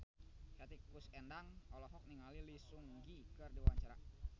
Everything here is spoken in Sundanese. Hetty Koes Endang olohok ningali Lee Seung Gi keur diwawancara